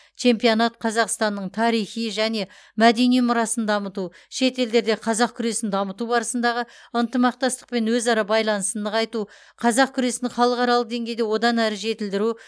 чемпионат қазақстанның тарихи және мәдени мұрасын дамыту шет елдерде қазақ күресін дамыту барысындағы ынтымақтастық пен өзара байланысын нығайту қазақ күресін халықаралық деңгейде одан әрі жетілдіру